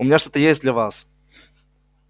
у меня что-то есть для вас